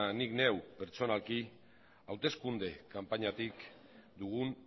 nik neuk pertsonalki hauteskunde kanpainatik dugun